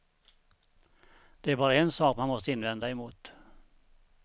Det är bara en sak man måste invända emot.